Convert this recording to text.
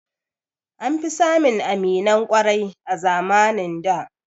An fi samun aminan ƙwarai a zamanin da